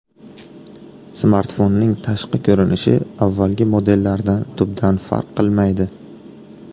Smartfonning tashqi ko‘rinishi avvalgi modellardan tubdan farq qilmaydi.